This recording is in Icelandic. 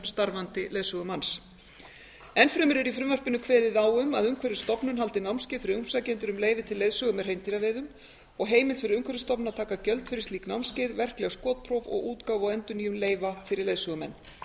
starfandi leiðsögumanns enn fremur er í frumvarpinu kveðið á um að umhverfisstofnun haldi námskeið fyrir umsækjendur um leyfi til leiðsögu með hreindýraveiðum og heimild fyrir umhverfisstofnun að taka gjöld fyrir slík námskeið verkleg skotpróf og útgáfu og endurnýjun leyfa fyrir leiðsögumenn